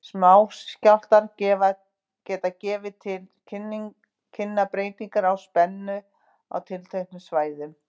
Smáskjálftar geta gefið til kynna breytingar á spennu á tilteknum svæðum.